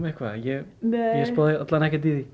ég spáði alla vega ekkert í